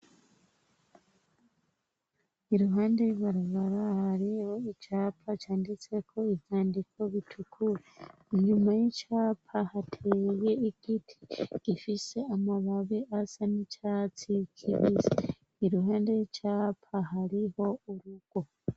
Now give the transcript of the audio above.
I ruhande ribarabara hariho icapa canditseko ivyandiko bitukura, inyuma y'icapa hateye igiti gifise amababi asa n'icatsikibise, ni ruhande r'icapa hariho urugo.